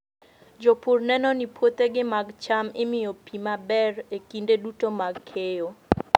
Jopur neno ni puothegi mag cham imiyo pi maber e kinde duto mag keyo.